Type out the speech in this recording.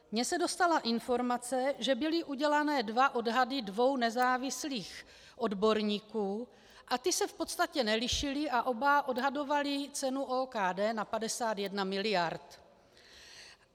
Mně se dostala informace, že byly udělány dva odhady dvou nezávislých odborníků a ty se v podstatě nelišily a oba odhadovaly cenu OKD na 51 miliard.